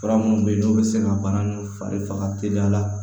Fura minnu bɛ yen n'o bɛ se ka baara ninnu fari faga teliya la